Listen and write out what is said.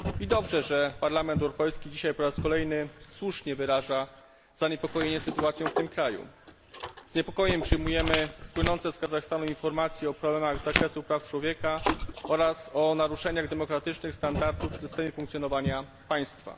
Dobrze, że Parlament Europejski dzisiaj po raz kolejny słusznie wyraża zaniepokojenie sytuacją w tym kraju. Z niepokojem przyjmujemy płynące z Kazachstanu informacje o problemach z zakresu praw człowieka oraz o naruszeniach demokratycznych standardów w systemie funkcjonowania państwa.